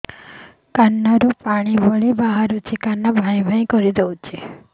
କାନ ରୁ ପାଣି ଭଳି ବାହାରୁଛି କାନ ଭାଁ ଭାଁ କରୁଛି